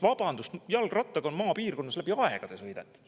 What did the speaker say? Vabandust, jalgrattaga on maapiirkonnas sõidetud läbi aegade.